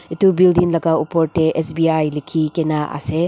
etu building laka upor tey sbi lekhe kena ase.